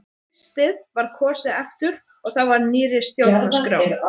Um haustið var kosið aftur og þá eftir nýrri stjórnarskrá.